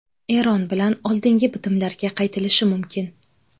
Eron bilan oldingi bitimlarga qaytilishi mumkin.